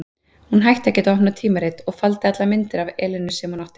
Hún hætti að geta opnað tímarit, og faldi allar myndir af Elenu sem hún átti.